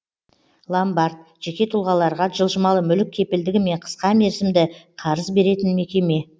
ломбард жеке тұлғаларға жылжымалы мүлік кепілдігімен қысқа мерзімді қарыз беретін мекеме